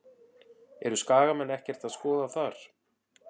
Eru Skagamenn ekkert að skoða þar?